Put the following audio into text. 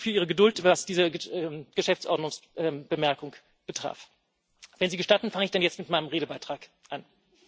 Vielen Dank für Ihre Geduld, was diese Geschäftsordnungsbemerkung betraf. Wenn Sie gestatten, fange ich dann jetzt mit meinem Redebeitrag an.